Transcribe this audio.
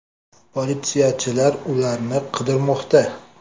Politsiyachilar ularni qidirmoqda.